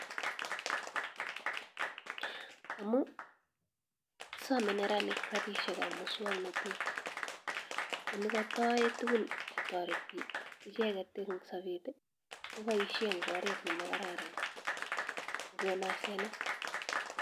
Amun somee neranik rabinikab muswoknotet, ne kotoyoen tukun chcetoreti icheket eng sobet koboishen en oreet nemakararan kokon asenet.